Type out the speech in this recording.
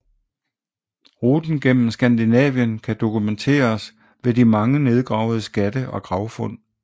Ruten gennem Skandinavien kan dokumenteres ved de mange nedgravede skatte og gravfund